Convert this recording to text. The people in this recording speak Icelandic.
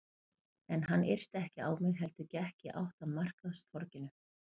En hann yrti ekki á mig heldur gekk í átt að markaðstorginu.